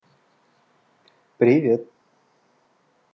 привет